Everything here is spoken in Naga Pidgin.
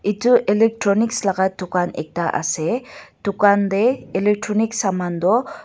Etu electronics laka tugan ekta ase tugan tey electronics saman tu uh.